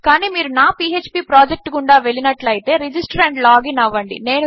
కానీ మీరు నా మై పీఎచ్పీ ప్రొజెక్ట్ గుండా వెళ్ళినట్లు అయితే రిజిస్టర్ ఆండ్ లాగిన్ అవ్వండి